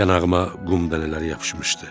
Yanağıma qum dənələri yapışmışdı.